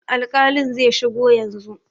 Alƙalin zai shigo yanzu.